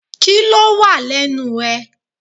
Kíló wà lẹ́nu ẹ?